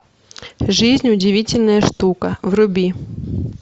жизнь удивительная штука вруби